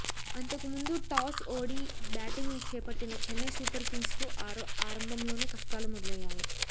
అంతకుముందు టాస్ ఓడి బ్యాటింగ్ చేపట్టిన చెన్నై సూపర్ కింగ్స్కు ఆరంభంలోనే కష్టాలు మొదలయ్యాయి